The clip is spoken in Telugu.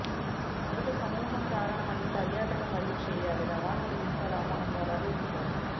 మొదటి సమూహం కారణమని పర్యాటక మరియు చేయాలి రవాణా వీసాలు ఆహ్వానంపై అలాగే వీసాలు